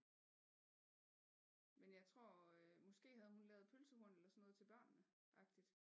Men jeg tror måske havde hun lavet pølsehorn eller sådan noget til børnene agtigt